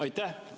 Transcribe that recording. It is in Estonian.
Aitäh!